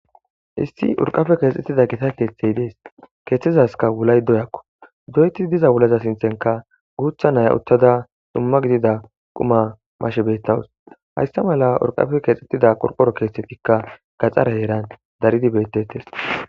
issi urqafe keexxettida gita keeththey dees keeththizaska wulay doyakko doyeti diza wulaza sinthenka guutha naya uttada dumma gidida quma mashe beettawus hayssa mala urqafe keexxettida qorporo keethtettikka gaxara heeran daridi bettettes